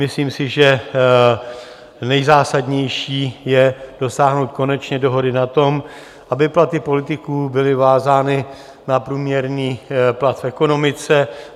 Myslím si, že nejzásadnější je dosáhnout konečně dohody na tom, aby platy politiků byly vázány na průměrný plat v ekonomice.